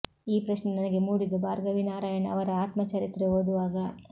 ಈ ಪ್ರಶ್ನೆ ನನಗೆ ಮೂಡಿದ್ದು ಭಾರ್ಗವಿ ನಾರಾಯಣ್ ಅವರ ಆತ್ಮ ಚರಿತ್ರೆ ಓದುವಾಗ